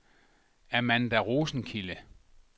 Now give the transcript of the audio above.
Amanda Rosenkilde